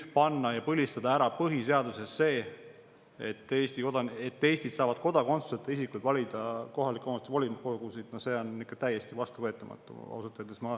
Panna põhiseadusesse ja põlistada seal ära see, et Eestis saavad kodakondsuseta isikud valida kohaliku omavalitsuse volikogusid – no see on ikka täiesti vastuvõetamatu, ausalt öeldes.